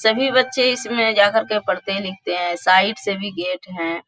सभी बच्चे इसमें जाकर के पढ़ते-लिखते हैं साइड से भी गेट है।